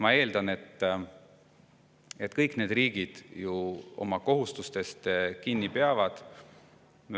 Ma eeldan, et kõik need riigid ka oma kohustustest kinni peavad.